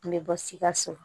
N bɛ bɔ sikaso